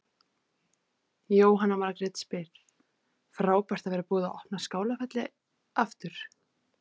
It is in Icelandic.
Jóhanna Margrét: Frábært að vera búið að opna Skálafelli aftur?